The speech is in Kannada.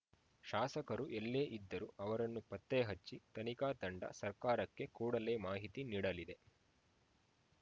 ಶಾಸಕರು ಎಲ್ಲೇ ಇದ್ದರೂ ಅವರನ್ನು ಪತ್ತೆಹಚ್ಚಿ ತನಿಖಾ ತಂಡ ಸರ್ಕಾರಕ್ಕೆ ಕೂಡಲೇ ಮಾಹಿತಿ ನೀಡಲಿದೆ